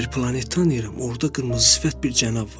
Mən bir planet tanıyıram, orda qırmızı sifət bir cənab var.